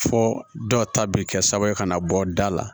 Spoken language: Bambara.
Fo dɔw ta bɛ kɛ sababu ye ka na bɔ da la